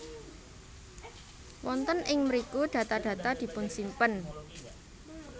Wonten ing mriku data data dipunsimpen